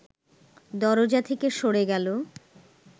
দরজা থেকে সরে গেল